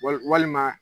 Wali walima